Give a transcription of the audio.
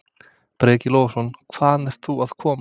Breki Logason: Hvaðan ert þú að koma?